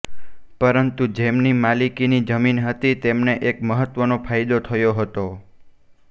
પરંતુ જેમની માલિકીની જમીન હતી તેમને એક મહત્વનો ફાયદો થયો હતો